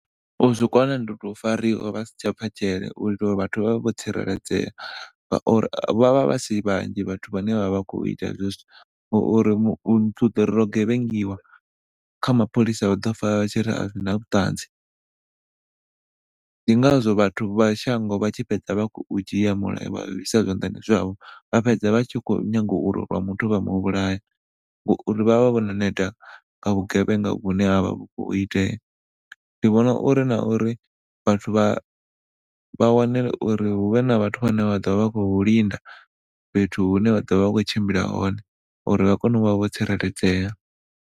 U zwi kona ndi u to fariwa vhasi tsha bva dzhele u teala uri vhathu vha vhe vho tsireledzea ngauri vhavha vha si vhanzhi vhathu vhane vha khou ita gevhengiwa kha mapholisa vha ḓo pfa vha tshiri a zwi na vhuṱanzi ndi ngazwo vhathu vha shango vha tshi fhedza vha khou dzhia mulayo vha uisa zwanḓani zwavho vha fhedza vha tshi khou nyanga urwa muthu vha muvhulaya ngauri vhavha vho no neta nga vhugevhenga hune ha vha hu khou itea ndi vhona uri na uri vhathu vha wane uri huvhe na vhathu vhane vha ḓo vha khou linda fhethu hune vha ḓo vha vha khou tshimbila hone uri vha kone u vha vho tsireledzea.